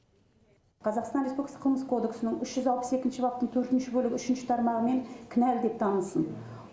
қазақстан республикасы қылмыстық кодексінің үш жүз алпыс екінші баптың төртінші бөлігі үшінші тармағымен кінәлі деп танылсын